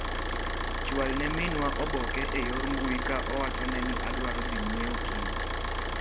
Chual ne minwa obok e yor mbui ka owachone ni adwaro dhi ng'iewo kiny.